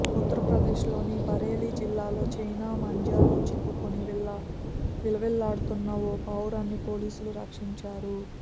ఉత్తర్ప్రదేశ్లోని బరేలీ జిల్లాలో చైనా మాంజలో చిక్కుకుని విలవిల్లాడుతున్న ఓ పావురాన్ని పోలీసులు రక్షించారు